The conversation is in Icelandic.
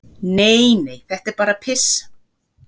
"""Nei, nei, þetta er bara piss."""